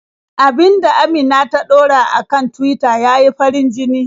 Abin da Amina ta ɗora a kan Tuwita ya yi farin-jini.